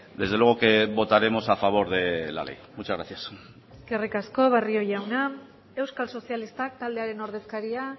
desde luego que votaremos a favor de la ley muchas gracias eskerrik asko barrio jauna euskal sozialistak taldearen ordezkaria